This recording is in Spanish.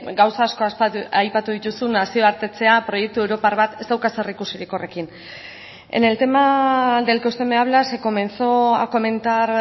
gauza asko aipatu dituzu nazioartetzea proiektu europar bat ez dauka zerikusirik horrekin en el tema del que usted me habla se comenzó a comentar